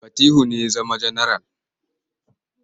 Fatihu ne ya zama janaral.